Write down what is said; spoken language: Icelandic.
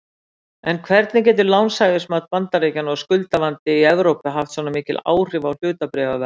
En hvernig getur lánshæfismat Bandaríkjanna og skuldavandi í Evrópu haft svona mikil áhrif á hlutabréfaverð?